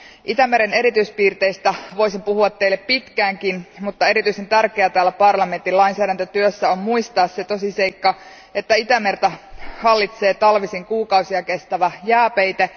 Itämeren erityispiirteistä voisin puhua pitkäänkin, mutta erityisen tärkeää täällä parlamentin lainsäädäntötyössä on muistaa se tosiseikka, että Itämerta hallitsee talvisin kuukausia kestävä jääpeite.